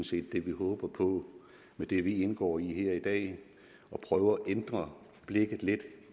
set det vi håber på med det vi indgår i i at prøve at ændre blikket lidt